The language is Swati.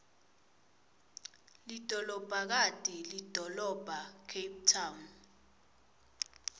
lidolobhakati lidolobhacape town